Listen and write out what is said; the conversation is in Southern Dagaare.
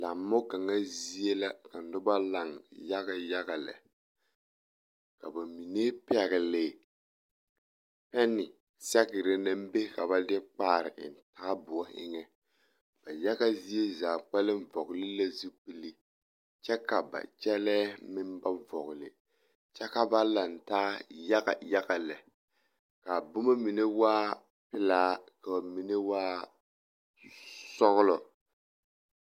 Lammo kaŋa zie la ka noba laŋ yaɡayaɡa lɛ ka ba mine pɛɡele pɛne sɛɡre na be ka ba de kpaari eŋ taaboɔ eŋɛ ba yaɡa zie zaa kpɛlɛm vɔɡele la zupili kyɛ ka ba kyɛlɛɛ na ba vɔɡele kyɛ ka ba lantaa yaɡayaɡa lɛ ka a boma mine waa pelaa ka a mine waa sɔɡelɔ.